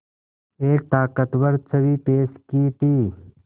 एक ताक़तवर छवि पेश की थी